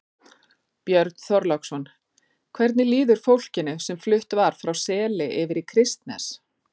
Björn Þorláksson: Hvernig líður fólkinu sem flutt var frá Seli yfir í Kristnes?